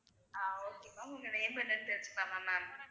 அஹ் okay ma'am உங்க name என்னென்னு தெரிஞ்சிக்கலாமா ma'am